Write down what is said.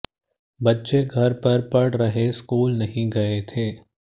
बच्चे घर पर पढ़ रहे स्कूल नहीं गए थे